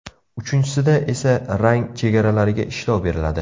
Uchinchisida esa rang chegaralariga ishlov beriladi.